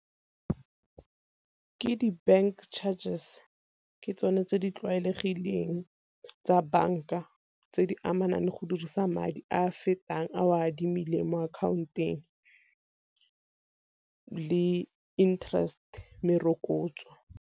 Ke di bank charges ke tsone tse di tlwaelegileng tsa banka tse di amanang le go dirisa madi a fetang a o a adimileng mo akhaonteng le interest merokotso.